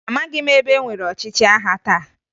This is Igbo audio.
Amaghị m ebe enwere ọchịchị agha taa